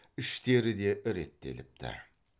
іштері де реттеліпті